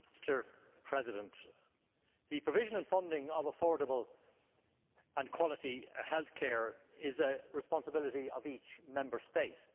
Mr President, the provision and funding of affordable and quality health care is a responsibility of each Member State.